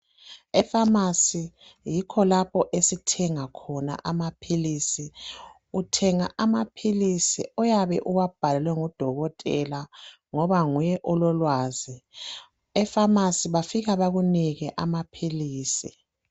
Ephamarcy yikho lapho esithenga khona amaphilisi. Uthenga amaphilisi oyabe uwabhalelwe ngudokotela ngoba nguye ololwazi. Ephamarcy bafika bakunike amaphilisi.